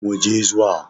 Mu je zuwa!